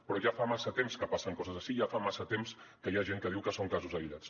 però ja fa massa temps que passen coses així i ja fa massa temps que hi ha gent que diu que són casos aïllats